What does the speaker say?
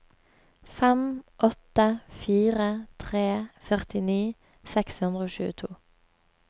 fem åtte fire tre førtini seks hundre og tjueto